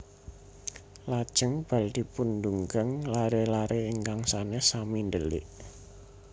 Lajèng bal dipundugang laré laré ingkang sanes sami ndèlik